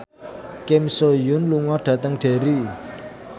Kim So Hyun lunga dhateng Derry